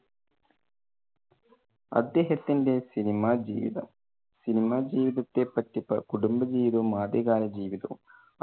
അദ്ദേഹത്തിന്റെ സിനിമ ജീവിതം, സിനിമ ജീവിതത്തെ പറ്റി പ~ അഹ് കുടുംബ ജീവിതവും ആദ്യ കാല ജീവിതവും.